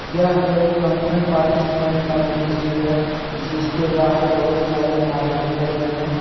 यह एक function participant का दृश्य है जिसके बाहर बहुत सारे आदमी खड़े हैं।